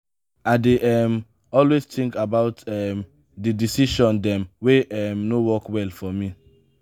i dey um always tink about um di decision dem wey um no work well for me.